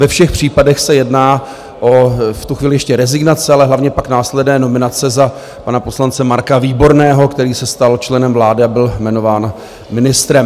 Ve všech případech se jedná o v tu chvíli ještě rezignace, ale hlavně pak následné nominace za pana poslance Marka Výborného, který se stal členem vlády a byl jmenován ministrem.